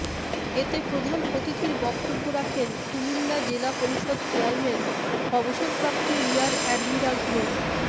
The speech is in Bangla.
এতে প্রধান অতিথির বক্তব্য রাখেন কুমিল্লা জেলা পরিষদ চেয়ারম্যান অবসরপ্রাপ্ত রিয়ার অ্যাডমিরাল মো